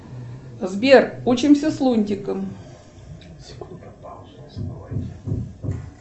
сбер учимся с лунтиком